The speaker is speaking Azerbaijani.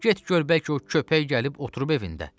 Get gör, bəlkə o köpək gəlib oturub evində.